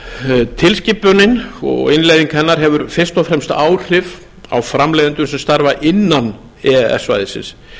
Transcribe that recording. lögum tilskipunin og innleiðing hennar hefur fyrst og fremst áhrif á framleiðendur sem starfa innan e e s svæðisins